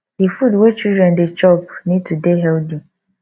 di food wey children dey chop need to dey healthy